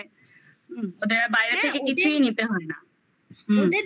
ওদের আর বাইরে থেকে ওদের কিছুই নিতে হয় না হুম হুম হুম হুম